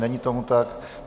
Není tomu tak.